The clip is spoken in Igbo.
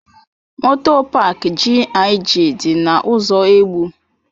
Moto paak GIG dị na ụzọ Egbu.